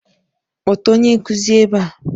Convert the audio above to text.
Kpọta onye nkuzi ebe a!